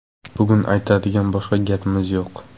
Bugun aytadigan boshqa gapimiz yo‘q”.